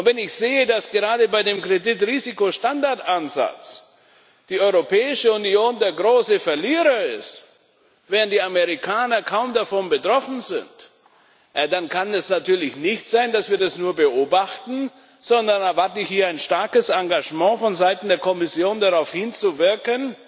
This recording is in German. Und wenn ich sehe, dass gerade bei dem Kreditrisikostandardansatz die Europäische Union der große Verlierer ist, während die Amerikaner kaum davon betroffen sind, ja dann kann es natürlich nicht sein, dass wir das nur beobachten, sondern da erwarte ich hier ein starkes Engagement vonseiten der Kommission darauf hinzuwirken,